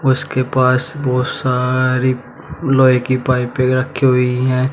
उसके पास बहोत सारी लोहे की पाइपे रखी हुई है।